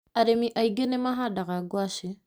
Arĩmi aingĩ nĩ mahandaga ngwacĩ.